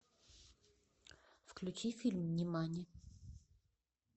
включи фильм нимани